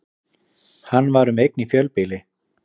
Hann var um eign í fjölbýli